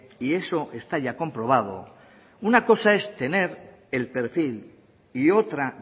y eso está ya comprobado una cosa es tener el perfil y otra